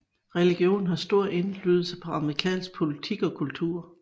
Religion har stor indflydelse på amerikansk politik og kultur